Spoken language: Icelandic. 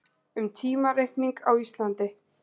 Um tímareikning á Íslandi.